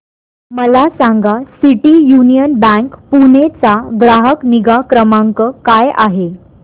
मला सांगा city union bank Pune चा ग्राहक निगा क्रमांक काय आहे